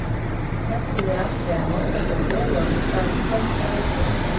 Með því er átt við að notað sé feluorð í stað hins rétta heitis.